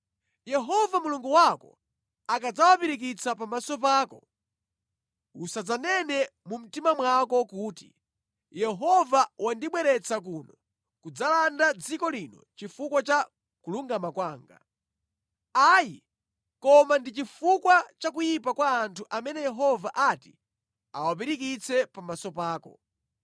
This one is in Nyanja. Yehova Mulungu wako akadzawapirikitsa pamaso pako, usadzanene mu mtima mwako kuti, “Yehova wandibweretsa kuno kudzalanda dziko lino chifukwa cha kulungama kwanga.” Ayi, koma ndi chifukwa cha kuyipa kwa anthu amene Yehova ati awapirikitse pamaso pako.